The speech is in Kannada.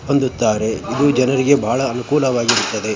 ಹೊಂದಿದ್ದಾರೆ ಇದು ಜನರಿಗೆ ಬಹಳ ಅನುಕೂಲವಾಗಿರುತ್ತದೆ.